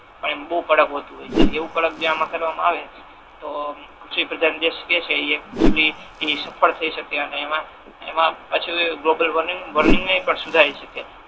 પણ એ બહુ કડક હોતુ હોય છે એવુ કડક જો આમા કરવા મા આવે તો કૃષિપ્રધાન દેશ કે છે ઈ એકચલી એ સફળ થઈ શકે ને એમા પાછુ ગ્લોબલ વોર્મિંગ નુ પણ સુધારી શકીએ.